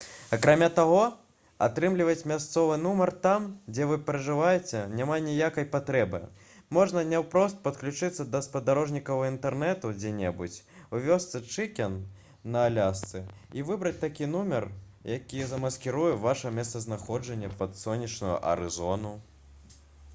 акрамя таго атрымліваць мясцовы нумар там дзе вы пражываеце няма ніякай патрэбы можна наўпрост падключыцца да спадарожнікавага інтэрнэту дзе-небудзь у вёсцы чыкен на алясцы і выбраць такі нумар які замаскіруе ваша месцазнаходжанне пад сонечную арызону